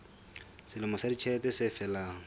selemo sa ditjhelete se felang